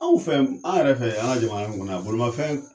Anw fɛ an yɛrɛ fɛ an ka jamana in kɔnɔ yan bolimafɛn